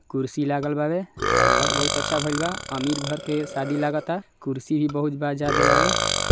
कुर्सी लागल बा वे सजावट बहुत अच्छा भइले बा अमीर घर के शादी लागत आ कुर्सी भी बहुत ज्यादा--